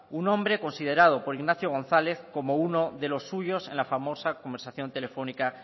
un hombre considerado por ignacio gonzález como uno de los suyos en la famosa conversación telefónica